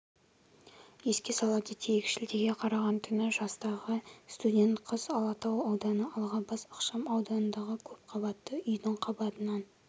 еске сала кетейік шілдеге қараған түні жастағы студент қыз алатау ауданы алғабас ықшамауданындағы көпқабатты үйдің қабатынан